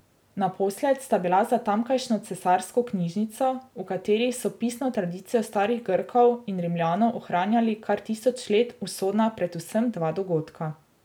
Naposled sta bila za tamkajšnjo Cesarsko knjižnico, v kateri so pisno tradicijo starih Grkov in Rimljanov ohranjali kar tisoč let, usodna predvsem dva dogodka.